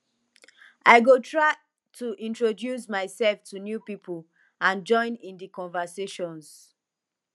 i go try to introduce myself to new people and join in di conversations